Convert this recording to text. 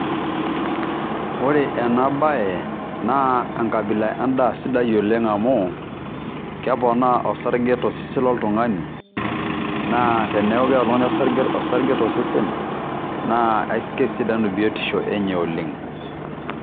Ore ena bae naa enkabila endaa sidai oleng' amu keponaa osarge to sesen loltung'ani, naa teneaku keeta oltung'ani osarge to sesen naa kesidanu biotisho enye oleng'.